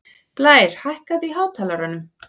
Blær, hækkaðu í hátalaranum.